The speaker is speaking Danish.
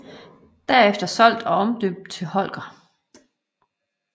Derefter solgt og omdøbt til Holger